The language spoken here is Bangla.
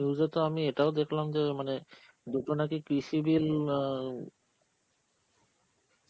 news এ তো আমি এটাও দেখলাম যে মানে দুটো নাকি কৃষি bill আঁ